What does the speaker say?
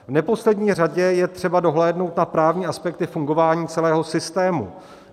V neposlední řadě je třeba dohlédnout na právní aspekty fungování celého systému.